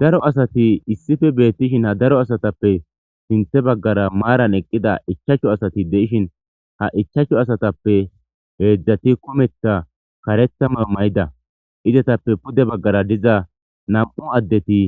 daro asati issife beettishin ha daro asatappe sinthe baggara maaran eqqida ichachcho asati de7ishin ha ichachchu asatappe heedzdzati kumetha karetha ma mayida izetappe pude baggara diza nam7u addeti